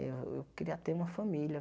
Eu eu queria ter uma família.